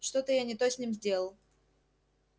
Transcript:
что-то я не то с ним сделал